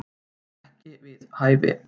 Ekki við hæfi